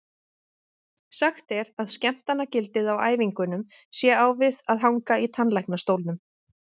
Sagt er að skemmtanagildið á æfingunum sé á við að hanga í tannlæknastólnum.